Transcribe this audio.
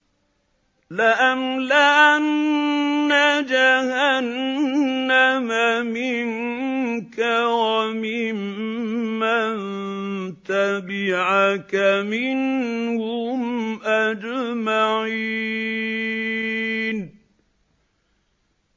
لَأَمْلَأَنَّ جَهَنَّمَ مِنكَ وَمِمَّن تَبِعَكَ مِنْهُمْ أَجْمَعِينَ